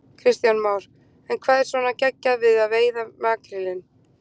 Kristján Már: En hvað er svona geggjað við að veiða makrílinn?